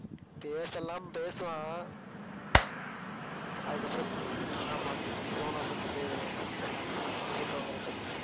பேச எல்லாம் பேசுவான். அதுக்கப்புறம் ஆமா குரோனோஸ் வந்துட்டு set ஆகமாட்டான்னு கொன்னு போட்டுருவாங்க க்ரேடோஸை